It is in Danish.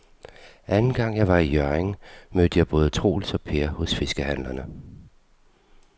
Anden gang jeg var i Hjørring, mødte jeg både Troels og Per hos fiskehandlerne.